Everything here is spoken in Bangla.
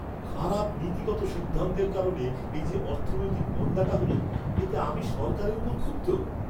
খারাপ নীতিগত সিদ্ধান্তের কারণে এই যে অর্থনৈতিক মন্দাটা হল, এতে আমি সরকারের ওপর ক্ষুব্ধ।